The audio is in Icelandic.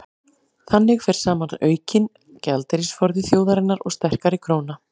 þannig fer saman aukinn gjaldeyrisforði þjóðarinnar og sterkari króna